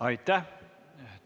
Aitäh!